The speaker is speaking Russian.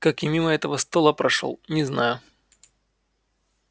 как я мимо этого стола прошёл не знаю